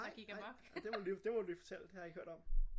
Nej nej det må du lige det må du lige fortælle det har jeg ikke hørt om